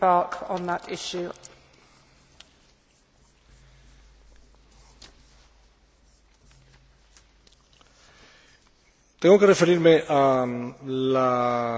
Tengo que referirme a la conferencia sobre responsabilidad social de las empresas que se celebró en Estocolmo los días 10 y 11 de noviembre de